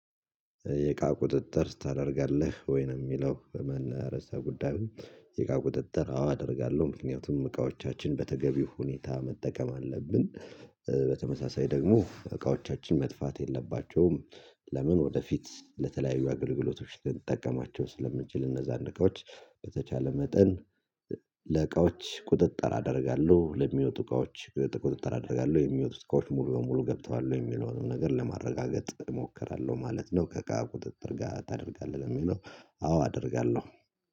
የእቃ ቁጥጥር ታደርጋለህ ወይ ነው የሚለው በመን ርዕሰ ጉዳዩ? የእቃ ቁጥጥር አዎ አደርጋለሁ ምክንያቱም እቃዎቻችን በተገቢው ሁኔታ መጠቀም አለብን። በተመሳሳይ ደግሞ እቃዎቻችን መጥፋት የለባቸውም። ለምን ወደፊት ለተለያዩ አገልግሎቶች ልንጠቀማቸው ስለምንችል እነዛን እቃዎች በተቻለ መጠን። ለእቃዎች ቁጥጥር አደርጋለሁ ለሚወጡ እቃዎች ቁጥጥር አደርጋለው የሚወጡት እቃዎች ሙሉ በሙሉ ገብተዋል ወይ የሚለውንም ነገር ለማረጋገጥ እሞክራለሁ ማለት ነው። ከእቃ ቁጥጥር ጋር ታደርጋለህ የሚለው? አዎ አደርጋለሁ።